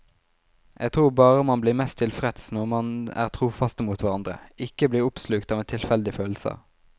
Jeg tror bare man blir mest tilfreds når man er trofaste mot hverandre, ikke blir oppslukt av en tilfeldig følelse.